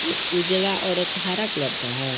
एक उजला और एक हरा कलर का है।